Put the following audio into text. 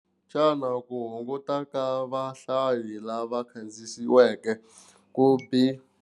Xana ku hunguta ka vahlayi lava kandziyisiweke kumbe.